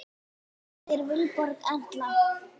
Þín dóttir, Vilborg Erla.